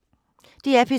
DR P3